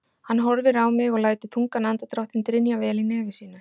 Hann horfir á mig og lætur þungan andardráttinn drynja vel í nefi sínu.